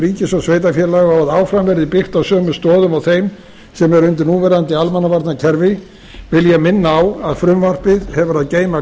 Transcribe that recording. ríkis og sveitarfélaga og að áfram verði byggt á sömu stoðum og þeim sem eru undir núverandi almannavarnakerfi vil ég minna á að frumvarpið hefur að geyma